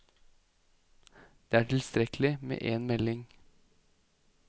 Det er tilstrekkelig med en melding.